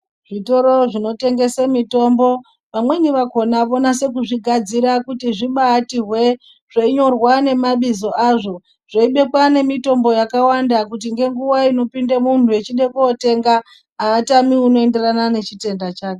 Zvitoro zvinotengese mitombo vamweni vakona vonase kuzvigadzira kuti zvibati hwee zveinyorwa nemabizvo azvo zveibikwa nemitombo yakawanda kuti ngenguwa inopinda mhunu echide kootenga aatami unoenderana nechitenda chake.